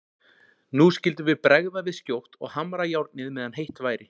Nú skyldum við bregða við skjótt og hamra járnið meðan heitt væri.